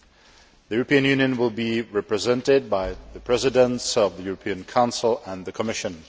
The European Union will be represented by the Presidents of the European Council and the Commission.